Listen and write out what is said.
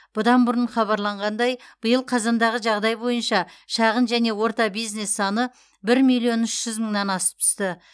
бұдан бұрын хабарланғандай биыл қазандағы жағдай бойынша шағын және орта бизнес саны бір миллион үш жүз мыңнан асып түсті